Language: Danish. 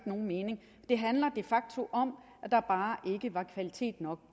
nogen mening det handler de facto om at der bare ikke var kvalitet nok